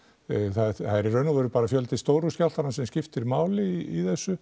það er í raun og veru bara fjöldi stóru skjálftanna sem skiptir máli í þessu